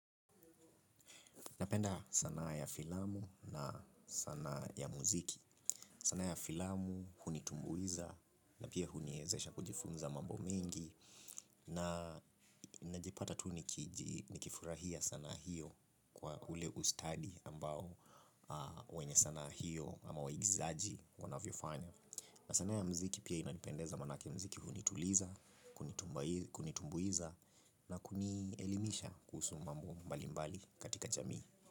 Napenda sanaa ya filamu na sanaa ya muziki. Sanaa ya filamu hunitumbuiza na pia huniezesha kujifunza mambo mingi na najipata tu nikifurahia sanaa hiyo kwa ule ustadi ambao wenye sanaa hiyo ama waigizaji wanavyofanya. Na sanaa ya muziki pia inanipendeza maanake muziki hunituliza, kunitumbuiza na kunielimisha kuhusu mambo mbali mbali katika jamii.